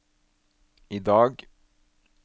idag